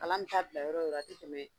Kalan bɛ taa bila yɔrɔ o yɔrɔ a tɛ tɛmɛ